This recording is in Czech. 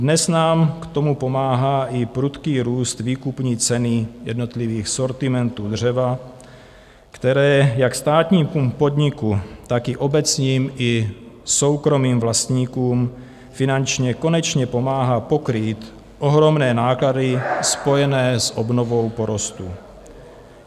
Dnes nám k tomu pomáhá i prudký růst výkupní ceny jednotlivých sortimentů dřeva, které jak státnímu podniku, tak i obecním i soukromým vlastníkům finančně konečně pomáhá pokrýt ohromné náklady spojené s obnovou porostů.